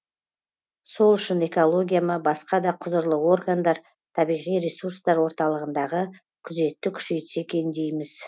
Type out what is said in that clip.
сол үшін экология ма басқа да құзырлы органдар табиғи ресурстар орталығындағы күзетті күшейтсе екен дейміз